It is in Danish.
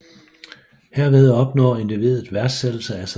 Herved opnår individet værdsættelse af sig selv